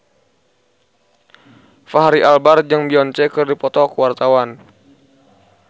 Fachri Albar jeung Beyonce keur dipoto ku wartawan